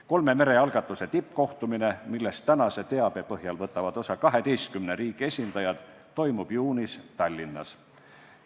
Kolme mere algatuse tippkohtumine, millest tänase teabe põhjal võtavad osa 12 riigi esindajad, toimub juunis Tallinnas.